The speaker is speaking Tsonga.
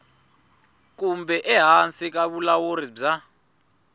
kumbe ehansi ka vulawuri bya